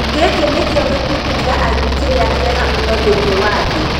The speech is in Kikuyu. giki nikio gĩkundi kĩa aini kĩrĩa kĩega mũno thĩinĩ wa thĩ.